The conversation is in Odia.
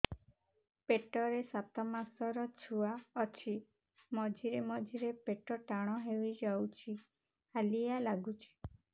ପେଟ ରେ ସାତମାସର ଛୁଆ ଅଛି ମଝିରେ ମଝିରେ ପେଟ ଟାଣ ହେଇଯାଉଚି ହାଲିଆ ଲାଗୁଚି